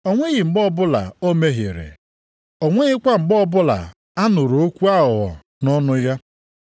“O nweghị mgbe ọbụla o mehiere, o nwekwaghị mgbe onye ọbụla nụrụ okwu aghụghọ nʼọnụ ya.” + 2:22 \+xt Aịz 53:9\+xt*